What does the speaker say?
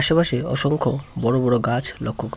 আশেপাশে অসংখ্য বড় বড় গাছ লক্ষ্য ক --